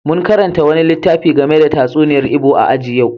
Mun karanta wani littafi game da tatsuniyar Igbo a aji a yau.